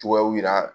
Cogoyaw yira